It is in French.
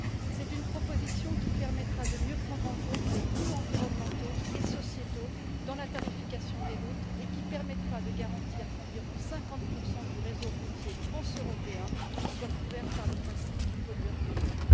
C'est une proposition qui permettra de mieux prendre en compte les coûts environnementaux et sociétaux dans la tarification des routes et qui permettra de garantir qu'environ 50 du réseau routier transeuropéen sera couvert par le principe du pollueur payeur.